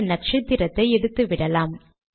இந்த நக்ஷத்திரத்தை எடுத்துவிடலாம்